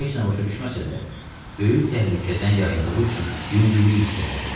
O heç nə başa düşməsə də, böyük təhlükədən yayındığı üçün yüngüllük hiss elədi.